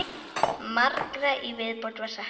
Margra í viðbót var saknað.